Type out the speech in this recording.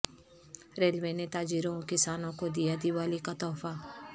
railway نے تاجروں و کسانوں کو دیا دیوالی کا تحفہ